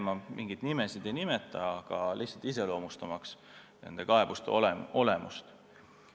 Ma mingeid nimesid ei nimeta, aga see iseloomustab nende kaebuste olemust.